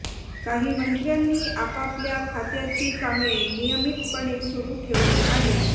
काही मंत्र्यांनी आपापल्या खात्याची कामे नियमितपणे सुरु ठेवली आहेत